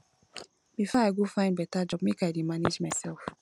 before i go find beta job make i dey manage mysef